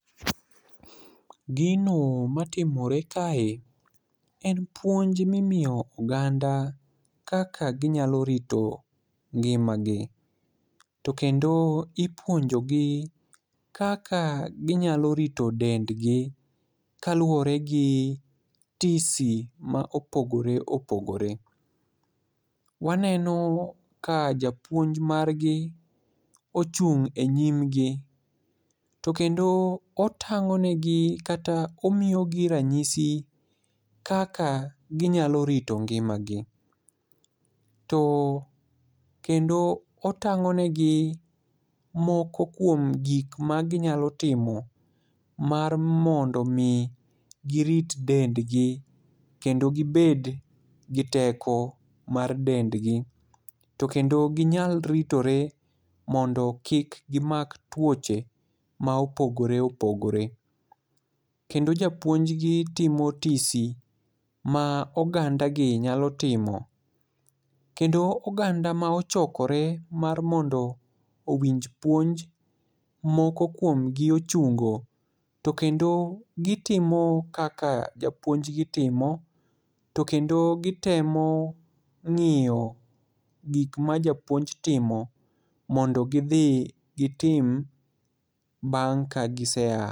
Gino matimore kae en puonj mimiyo oganda kaka ginyalo rito ngimagi, to kendo ipuonjogi kaka ginyalo rito dendgi kaluwore gi tisi ma opogore opogore. Waneno ka japuonj margi ochung' e nyimgi, to kendo otang'o negi kata omiyogi ranyisi kaka ginyalo rito ngimagi, to kendo otang'o negi moko kuom gik maginyalo timo mar mondo omi girit dendgi kendo gibed gi teko mar dendgi, to kendo ginyal ritore mondo kik gimak tuoche ma opogore opogore. Kendo japuonjgi timo tisi ma ogandagi nyalo timo, kendo oganda ma ochokore mar mondo owinj puonj moko kuom gi ochungo, to kendo gitimo kaka japuonjgi timo, to kendo gitemo ng'iyo gik ma japuonj timo mondo gidhi gitim bang' ka giseya.